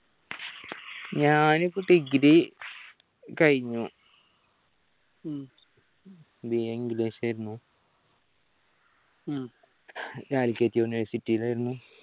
ഞാനിപ്പോ degree കഴിഞ്ഞു BAenglish ആയിരുന്നു calicut university ൽ ആയിരുന്നു